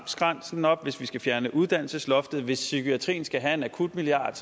grænsen op hvis vi skal fjerne uddannelsesloftet og hvis psykiatrien skal have en akutmilliard